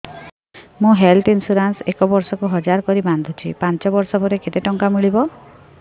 ମୁ health insurance ଏକ ବର୍ଷକୁ ହଜାର କରି ବାନ୍ଧୁଛି ପାଞ୍ଚ ବର୍ଷ ପରେ କେତେ ଟଙ୍କା ମିଳିବ